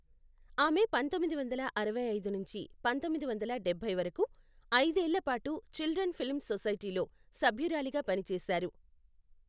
ఆమె పంతొమ్మిది వందల అరవై ఐదు నుంచి పంతొమ్మిది వందల డబ్బై వరకు, ఐదేళ్ల పాటు చిల్డ్రన్ ఫిల్మ్ సొసైటీలో సభ్యురాలిగా పనిచేశారు.